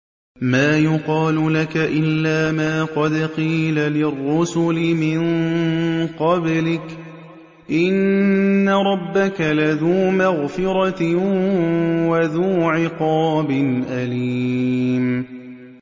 مَّا يُقَالُ لَكَ إِلَّا مَا قَدْ قِيلَ لِلرُّسُلِ مِن قَبْلِكَ ۚ إِنَّ رَبَّكَ لَذُو مَغْفِرَةٍ وَذُو عِقَابٍ أَلِيمٍ